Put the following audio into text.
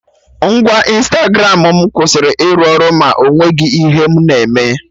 Ngwa Ịnstagramụ mụ kwụsịrị ịrụ ọrụ ma ọ nweghị ihe mụ na-eme